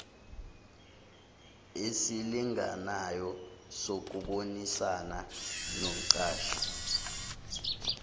esilinganayo sokubonisana nomqashi